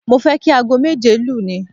Mo fẹ́ kí aago méje lu ni